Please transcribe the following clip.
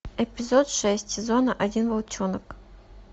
эпизод шесть сезона один волчонок